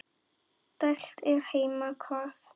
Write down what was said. dælt er heima hvað.